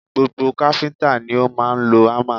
Gbogbo káfíńtà ni ó máa ń lo hámà